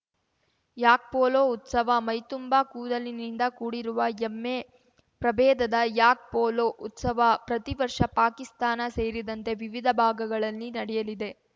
ಯಾಕ್ ಪೋಲೋ ಉತ್ಸವ ಮೈ ತುಂಬಾ ಕೂದಲಿನಿಂದ ಕೂಡಿರುವ ಎಮ್ಮೆ ಪ್ರಬೇಧದ ಯಾಕ್ ಪೋಲೋ ಉತ್ಸವ ಪ್ರತಿವರ್ಷ ಪಾಕಿಸ್ತಾನ ಸೇರಿದಂತೆ ವಿವಿಧ ಭಾಗಗಳಲ್ಲಿ ನಡೆಯಲಿದೆ